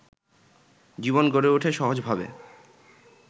জীবন গড়ে ওঠে সহজভাবে